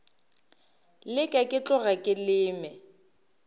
leke ke tloge ke leme